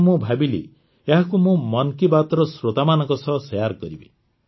ତେଣୁ ମୁଁ ଭାବିଲି ଏହାକୁ ମୁଁ ମନ୍ କୀ ବାତ୍ର ଶ୍ରୋତାମାନଙ୍କ ସହ ସେୟାର କରିବି